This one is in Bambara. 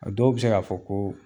A dɔw bɛ se k'a fɔ ko